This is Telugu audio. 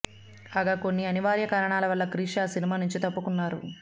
కాగా కొన్ని అనివార్య కారణాల వల్ల క్రిష్ ఆ సినిమా నుంచి తప్పుకున్నారు